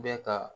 Bɛ ka